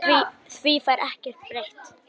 Því fær ekkert breytt.